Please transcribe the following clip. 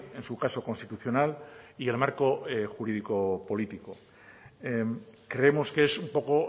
en su caso constitucional y el marco jurídico político creemos que es un poco